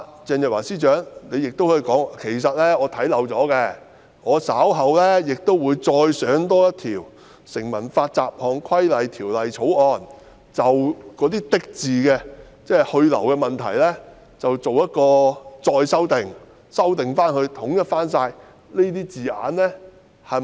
鄭若驊司長亦可以說，是她看漏了，稍後會再提交一項《成文法條例草案》，就"的"字去留的問題再作修訂，以便再統一所有用字。